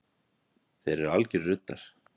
Þeir eru algjörir ruddar